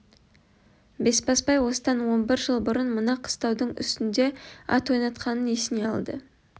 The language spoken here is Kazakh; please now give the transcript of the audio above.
бесбасбай осыдан он бір жыл бұрын мына қыстаудың үстінде ат ойнатқанын еске алды